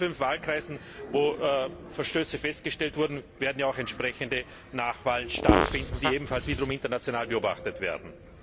In den fünf Wahlkreisen, in denen Verstöße festgestellt wurden, werden ja auch entsprechende Nachwahlen stattfinden, die ebenfalls wiederum international beobachtet werden.